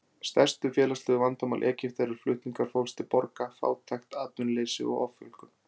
Stærstu félagslegu vandamál Egypta eru flutningar fólks til borga, fátækt, atvinnuleysi og offjölgun.